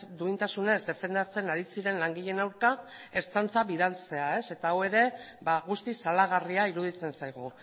duintasunez defendatzen ari ziren langileen aurka ertzaintza bidaltzea eta hau ere guztiz salagarria iruditzen zaigu